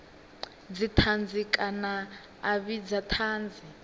dzithanzi kana a vhidza thanzi